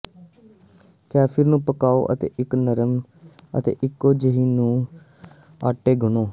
kefir ਨੂੰ ਪਕਾਉ ਅਤੇ ਇੱਕ ਨਰਮ ਅਤੇ ਇਕੋ ਜਿਹੀ ਆਟੇ ਗੁਨ੍ਹੋ